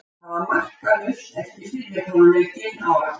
Það var markalaust eftir fyrri hálfleikinn á Akureyri.